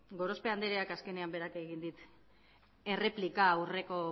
gorospe andreak azkenean berak egin dit erreplika aurreko